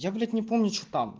я блять не помню что там